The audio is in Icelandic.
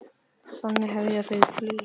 Þannig hefja þau flugið.